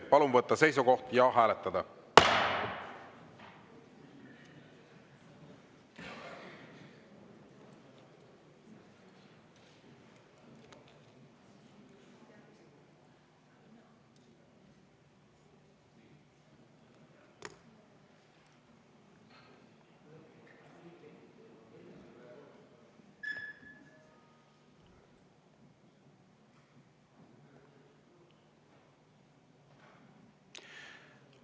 Palun võtta seisukoht ja hääletada!